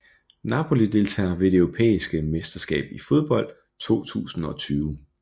Napoli Deltagere ved det europæiske mesterskab i fodbold 2020